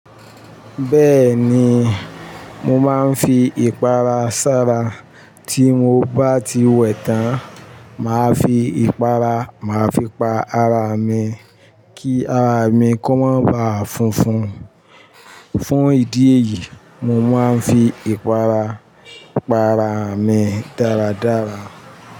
Bẹ́ẹ̀ni, mo máa ń fi ìpara ṣára. Tí mo bá ti wẹ̀ tán, màá fi ìpara, màá fi pa ara mi ki ara mi kó má baà funfun. Fún ìdí èyí, mo máa ń fi ìpara pa ara mi dáradára.